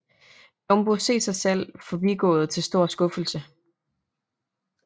Jumbo se sig selv forbigået til stor skuffelse